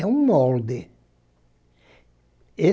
É um molde.